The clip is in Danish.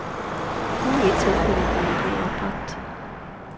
Kun i et tilfælde blev en båd opbragt.